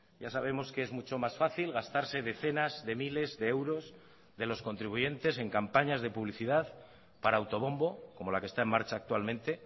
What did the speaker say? ya sabemos que es mucho más fácil gastarse decenas de miles de euros de los contribuyentes en campañas de publicidad para autobombo como la que está en marcha actualmente